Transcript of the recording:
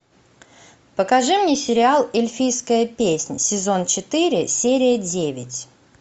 покажи мне сериал эльфийская песнь сезон четыре серия девять